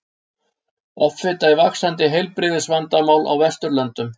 Offita er vaxandi heilbrigðisvandamál á Vesturlöndum.